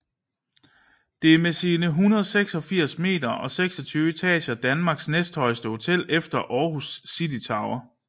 Det er med sine 86 meter og 26 etager Danmarks næsthøjeste hotel efter Aarhus City Tower